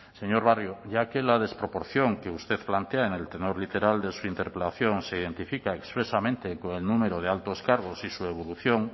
señor barrio ya que la desproporción que usted plantea en el tenor literal de su interpelación se identifica expresamente con el número de altos cargos y su evolución